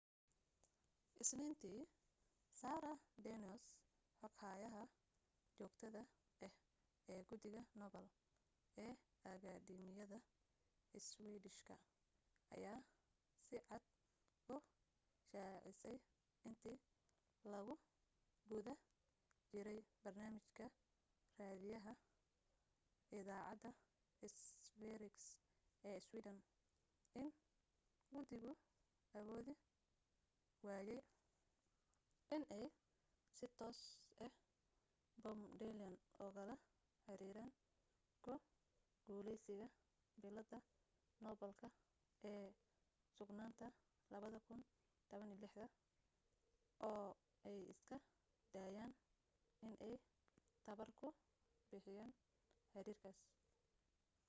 isniintii sara danius xoghayaha joogtada ah ee guddiga nobel ee akadeemiyada iswiidishka ayaa si cad u shaacisay intii lagu guda jiray barnaamij ka raadiyaha idaacadda sveriges ee sweden in gudigu awoodi waayay inay si toos ah bob dylan ugala xiriiraan ku guulaysiga billadda noobalka ee suugaanta 2016 oo ay iska daayeen inay tamar ku bixiyaan xiriirkaas